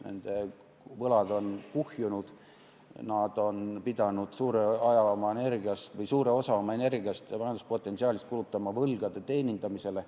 Nende võlad on kuhjunud, nad on pidanud suure osa oma energiast ja majanduspotentsiaalist kulutama võlgade teenindamisele.